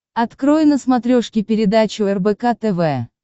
открой на смотрешке передачу рбк тв